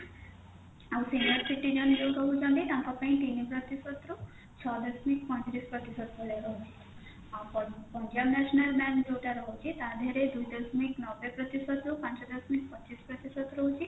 ଆଉ ସେ senior citizen କହୁଛନ୍ତି ତାଙ୍କ ପାଇଁ ତିନି ପ୍ରତିଶତରୁ ଛ ଦଶମିକ ପଇଁତିରିଶ ପ୍ରତିଶତ ଭଳିଆ ରହୁଛି ଆଉ punjab national bank ଯୋଉଟା ରହୁଛି ତା ଦେହେରେ ଦୁଇ ଦଶମିକ ନବେ ପ୍ରତିଶତ ରୁ ପାଞ୍ଚ ଦଶମିକ ପଚିଶ ପ୍ରତିଶତ ରହୁଛି